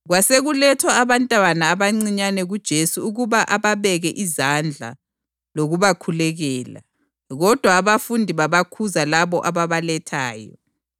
Kwasekulethwa abantwana abancinyane kuJesu ukuba ababeke izandla lokubakhulekela. Kodwa abafundi babakhuza labo ababalethayo.